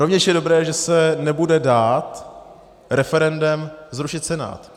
Rovněž je dobré, že se nebude dát referendem zrušit Senát.